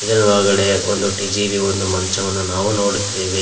ಇದರ ಒಳಗಡೆ ಒಂದು ಟಿಜಿರಿ ಒಂದು ಮಂಚವನ್ನು ನಾವು ನೋಡುತ್ತೇವೆ.